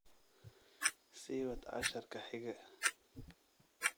sii wad casharka xiga